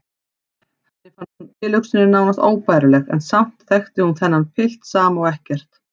Henni fannst tilhugsunin nánast óbærileg en samt þekkti hún þennan pilt sama og ekkert.